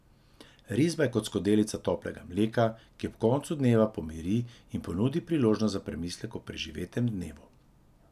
Risba je kot skodelica toplega mleka, ki ob koncu dneva pomiri in ponudi priložnost za premislek o preživetem dnevu.